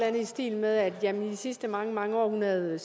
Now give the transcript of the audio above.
andet i stil med at de sidste mange mange år hun havde